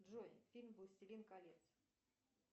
джой фильм властелин колец